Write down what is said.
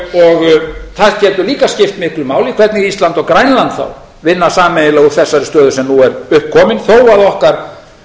og það getur líka skipt miklu máli hvernig ísland og grænland vinna sameiginlega úr þessari stöðu sem nú er upp komin þó að okkar